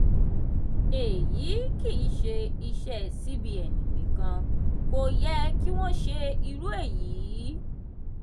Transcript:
eyi kìí ṣe iṣẹ́ cbn nìkan kò yẹ kí wọ́n ṣe irú èyí.